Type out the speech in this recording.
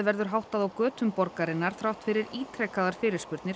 verður háttað á götum borgarinnar þrátt fyrir ítrekaðar